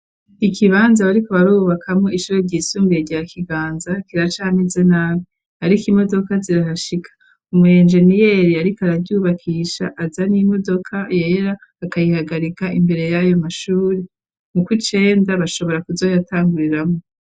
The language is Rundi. Ikibanza bariko barubakamo ishuri ryisumbiye rya kiganza kiracamize nabi . Ariko imodoka zirarashika umu engeniyeri ariko araryubakisha aza n'imodoka yera akayihagarika imbere y'ayo mashuri mu kwicenda bashobora kuzoyatanguriramo.